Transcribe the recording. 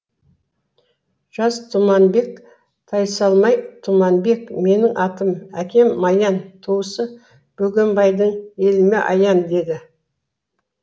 жас тұманбек тайсалмай тұманбек менің атым әкем маян туысы бөгембайдың еліме аян деді